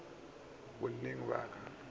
na le mo a solago